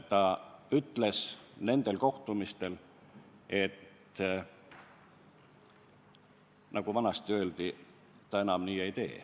Ta ütles nendel kohtumistel nõnda, nagu vanasti ikka öeldi, et ta enam nii ei tee.